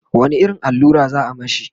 wani irin allura za'a mashi?